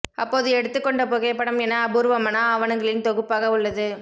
அப்போது எடுத்துக் கொண்ட புகைப்படம் என அபூர்வமான ஆவணங்களின் தொகுப்பாக உள்ளது